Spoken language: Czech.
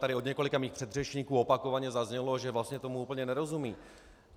Tady od několika mých předřečníků opakovaně zaznělo, že vlastně tomu úplně nerozumějí.